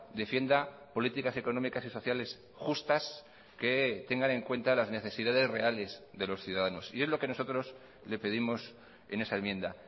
defienda políticas económicas y sociales justas que tengan en cuenta las necesidades reales de los ciudadanos y es lo que nosotros le pedimos en esa enmienda